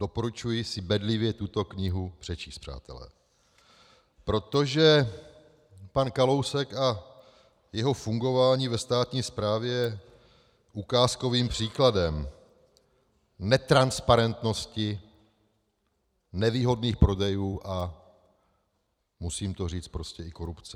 Doporučuji si bedlivě tuto knihu přečíst, přátelé, protože pan Kalousek a jeho fungování ve státní správě je ukázkovým příkladem netransparentnosti, nevýhodných prodejů, a musím to říct, prostě i korupce.